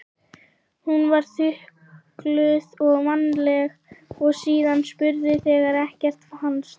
Hún var þukluð vandlega og síðan spurð þegar ekkert fannst.